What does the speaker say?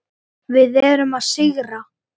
Við erum að sigra.